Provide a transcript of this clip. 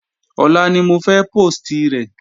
Ọ̀la ni mo fẹ́ póòstì rẹ̀